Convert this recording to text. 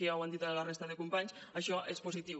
ja ho han dit la resta de companys això és positiu